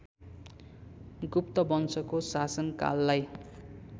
गुप्त वंशको शासनकाललाई